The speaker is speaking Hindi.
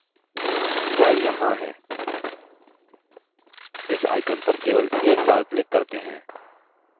वह यहाँ है इस icon पर केवल एक बार click करते हैं